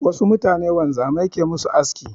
Wasu mutanen wanzamai ke ma su aski.